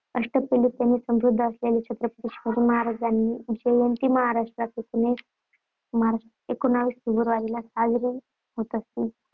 अष्टपैलुत्वाने समृद्ध असलेल्य छत्रपती शिवाजी महाराजांची जयंती महाराष्ट्रात एकोणीस फेब्रुवारीला साजरी होत असली,